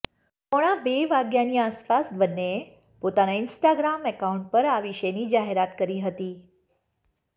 પોણા બે વાગ્યાની આસપાસ બંનેએ પોતાના ઈન્સ્ટાગ્રામ એકાઉન્ટ પર આ વિશેની જાહેરાત કરી હતી